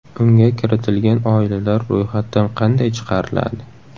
Unga kiritilgan oilalar ro‘yxatdan qanday chiqariladi?